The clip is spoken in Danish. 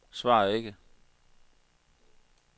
svar ikke